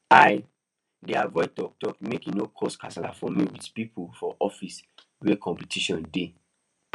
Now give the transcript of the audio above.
i dey avoid talk talk make e no cause kasala for me with people for office wey competition dey